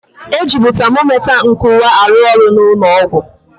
E jịbụ tamomita nkụwa arụ ọrụ na ụnọ ọgwụ.